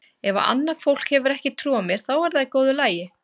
Ef að annað fólk hefur ekki trú á mér þá er það í góðu lagi.